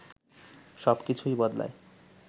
সবকিছুই বদলায়